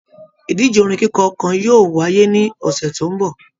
Ìdíje orin kikọ kàn yóò wáyé ní ọsẹ tó n bọ.